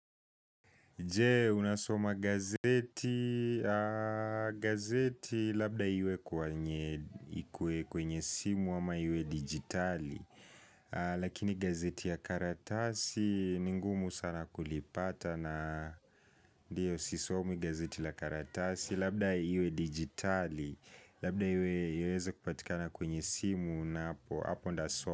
Je, unasoma gazeti, gazeti labda iwe kwenye simu ama iwe digitali Lakini gazeti ya karatasi ningumu sana kulipata na ndiyo sisomi gazeti la karatasi Labda iwe digitali, labda iweze kupatika na kwenye simu na hapo ndasoma.